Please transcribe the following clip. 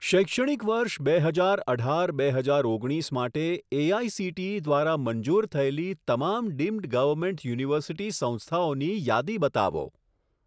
શૈક્ષણિક વર્ષ બે હજાર અઢાર બે હજાર ઓગણીસ માટે એઆઇસીટીઈ દ્વારા મંજૂર થયેલી તમામ ડીમ્ડ ગવર્મેન્ટ યુનિવર્સિટી સંસ્થાઓની યાદી બતાવો.